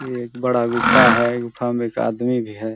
ये एक बड़ा गुफ़ा है गुफ़ा में एक आदमी भी हैं ।